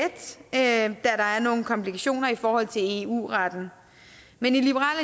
da der er nogle komplikationer i forhold til eu retten men i liberal